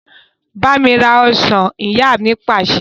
Bámi rà ọ́ṣán! Ìyá mi Pàṣẹ.